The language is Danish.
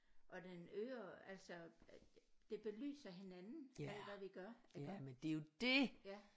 Og den øger altså det belyser hinanden alt hvad vi gør iggå ja